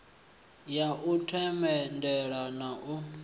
ya u themendela na u